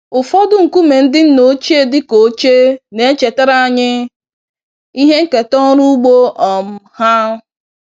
Ụfọdụ nkume ndị nna ochie dị ka oche, na-echetara anyị ihe nketa ọrụ ugbo um ha.